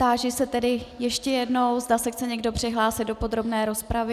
Táži se tedy ještě jednou, zda se chce někdo přihlásit do podrobné rozpravy.